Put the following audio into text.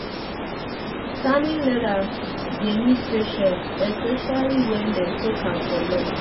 tanning leather dey need patience um especially when um dem soak am for long. um